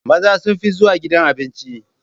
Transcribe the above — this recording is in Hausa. Maza sun fi zuwa gidan Abinci